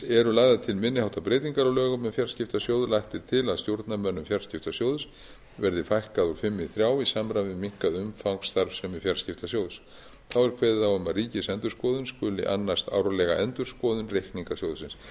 eru lagðar til minni háttar breytingar á lögum um fjarskiptasjóð lagt er til að stjórnarmönnum fjarskiptasjóðs verði fækkað úr fimm í þrjá í samræmi við minnkað umfang starfsemi fjarskiptasjóðs þá er kveðið á um að ríkisendurskoðun skuli annast árlega endurskoðun reikninga sjóðsins hér